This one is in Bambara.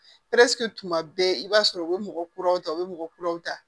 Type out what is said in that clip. tuma bɛɛ i b'a sɔrɔ u bɛ mɔgɔ kuraw ta u bɛ mɔgɔ kuraw ta